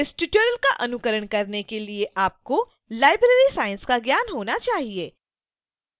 इस tutorial का अनुकरण करने के लिए आपको library science का ज्ञान होना चाहिए